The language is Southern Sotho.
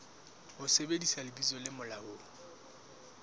ho sebedisa lebitso le molaong